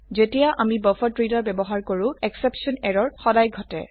যেতিয়া আমি বাফাৰেড্ৰেডাৰ ব্যবহাৰ কৰো এক্সেপশ্যন এৰৰ সদায় ঘটে